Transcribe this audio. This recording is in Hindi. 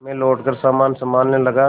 मैं लौटकर सामान सँभालने लगा